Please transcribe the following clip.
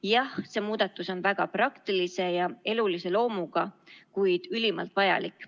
Jah, see muudatus on väga praktilise ja elulise loomuga, kuid ülimalt vajalik.